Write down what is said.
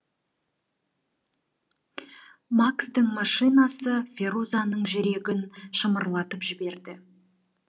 макстың машинасы ферузаның жүрегін шымырлатып жіберді